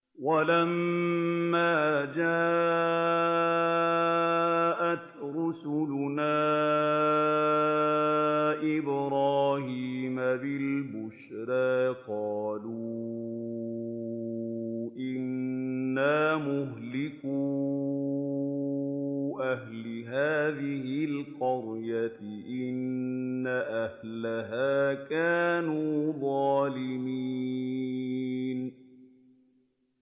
وَلَمَّا جَاءَتْ رُسُلُنَا إِبْرَاهِيمَ بِالْبُشْرَىٰ قَالُوا إِنَّا مُهْلِكُو أَهْلِ هَٰذِهِ الْقَرْيَةِ ۖ إِنَّ أَهْلَهَا كَانُوا ظَالِمِينَ